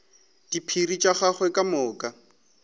diphiri tša gagwe ka moka